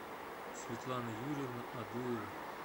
светлана юрьевна адуева